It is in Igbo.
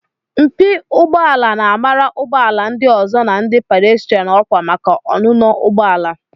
Mpi ụgbọ ala na-amara ụgbọ ala ndị ọzọ na ndị pàdéstirán ọkwa maka ọnụnọ ụgbọ ala